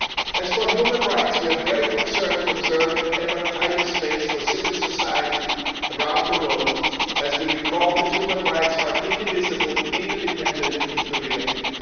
As for human rights, we are very concerned to observe an ever tighter space for civil society around the world, and we would emphasise that human rights are indivisible, interdependent and inter related.